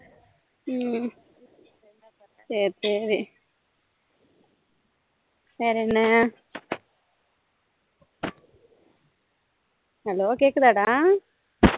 ஹம் சரி சரி வேற என்ன hello கேக்குதா டா